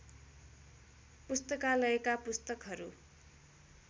पुस्तकालयका पुस्तकहरू